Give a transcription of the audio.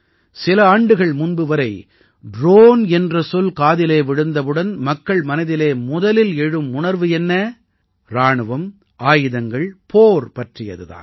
சில ஆண்டுகள் முன்பு வரை ட்ரோன் என்ற சொல் காதிலே விழுந்தவுடன் மக்களின் மனதில் முதலில் எழும் உணர்வு என்ன இராணுவம் ஆயுதங்கள் போர் பற்றியது தான்